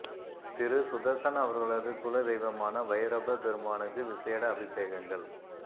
திரு சுதர்சன் அவர்களது குல தெய்வமான வைரபப் பெருமானுக்கு விசேட அபிசேகங்கள்